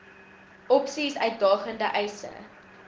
opsies uitdagende eise